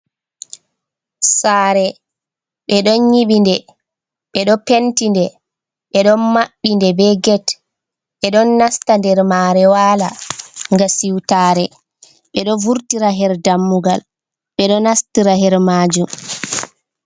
Sare ɓeɗo nyiɓi nde, ɓeɗo penti nde ɓeɗon maɓɓi nde be get ɓeɗo nasta nder mare wala nga siwtare ɓeɗo vurtira her dammugal ɓeɗo nastira her majum.